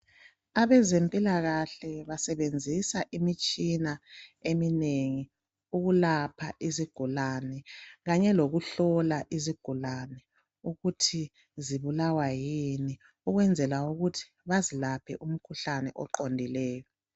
abezempilakahle basebenzisa imitshina eminengi ukulapha izigulane kanye lokuhlola izigulane ukuthi zibulawa yini ukwenzela ukuthi bazilaphe umkhuhlane oqondileyo